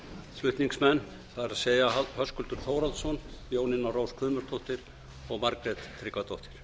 flutningsmenn það er höskuldur þórhallsson jónína rós guðmundsdóttir og margrét tryggvadóttir